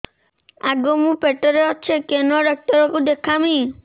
ଆଗୋ ମୁଁ ପେଟରେ ଅଛେ କେନ୍ ଡାକ୍ତର କୁ ଦେଖାମି